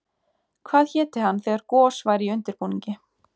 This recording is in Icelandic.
Hvað héti hann þegar gos væri í undirbúningi?